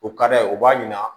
O ka d'a ye o b'a ɲina